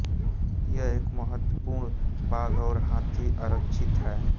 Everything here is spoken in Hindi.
यह एक महत्वपूर्ण बाघ और हाथी आरक्षित है